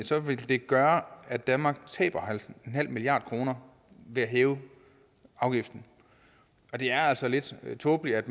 så vil det gøre at danmark taber nul milliard kroner ved at hæve afgiften og det er altså lidt tåbeligt at